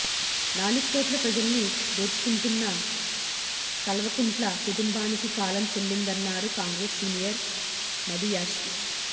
నాలుగుకోట్ల ప్రజల్ని దోచుకుంటున్నా కల్వకుంట్ల కుటుంబానికి కాలం చెల్లిందన్నారు కాంగ్రెస్ సీనియర్ మధుయాష్కి